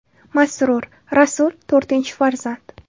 Masrur : Rasul, to‘rtinchi farzand.